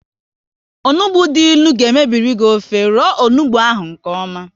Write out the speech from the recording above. Onugbu dị ịnụ ga mebiri gị ofe, roo onugbu ahụ nkeọma